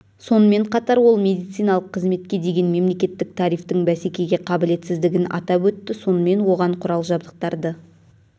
сонымен қатар ол медициналық қызметке деген мемлекеттік тарифтің бәсекеге қабілетсіздігін атап өтті сонымен оған құрал жабдықтарды